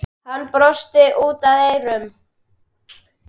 Hann brosti út að eyrum.